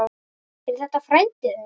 Er þetta frændi þinn?